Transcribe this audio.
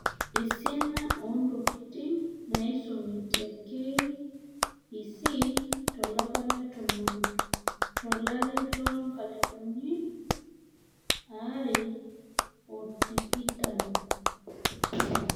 Esiana oo ntokiting' naaisumi Te KEC to lapa le Tomon to olari loonkalifuni are ootikitam.